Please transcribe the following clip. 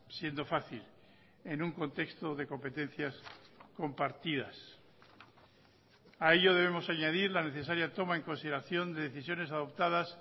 siendo fácil en un contexto de competencias compartidas a ello debemos añadir la necesaria toma en consideración de decisiones adoptadas